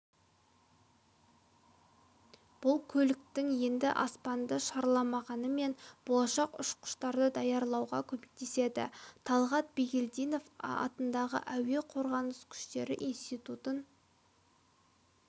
бұл көліктер енді аспанды шарламағанымен болашақ ұшқыштарды даярлауға көмектеседі талғат бигелдинов атындағы әуе қорғаныс күштері институтын